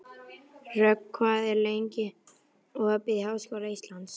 Rögn, hvað er lengi opið í Háskóla Íslands?